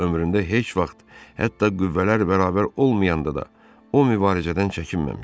Ömründə heç vaxt, hətta qüvvələr bərabər olmayanda da o mübarizədən çəkinməmişdi.